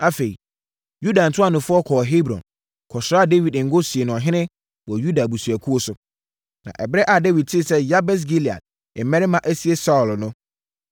Afei, Yuda ntuanofoɔ kɔɔ Hebron, kɔsraa Dawid ngo sii no ɔhene wɔ Yuda abusuakuo so. Na ɛberɛ a Dawid tee sɛ Yabes Gilead mmarima asie Saulo no,